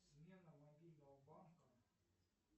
смена мобильного банка